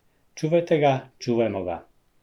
Čuvajte ga, čuvajmo ga.